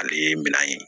Ale ye minɛn ye